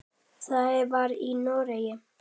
Það var í Noregi.